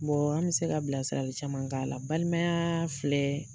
an bɛ se ka bilasirali caman k'a la, balimaya filɛ